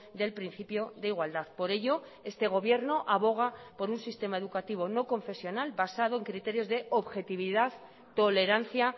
del principio de igualdad por ello este gobierno aboga por un sistema educativo no confesional basado en criterios de objetividad tolerancia